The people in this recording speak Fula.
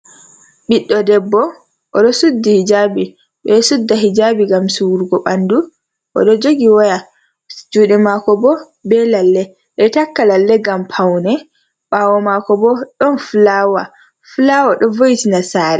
Ɓiɗɗo debbo odo suddi hijabi. Ɓeɗo sudda hijabi ngam sururgo ɓandu. Oɗo jogi waya juɗe mako bo be lalle. Ɓeɗo takka lalle ngam paune. Ɓawo mako bo ɗon fulawa, fulawa ɗo vo'itina sare.